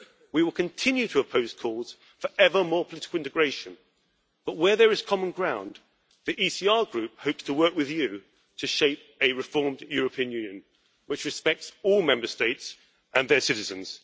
We will continue to oppose calls for ever more political integration, but where there is common ground the ECR Group hopes to work with you to shape a reformed European Union which respects all Member States and their citizens.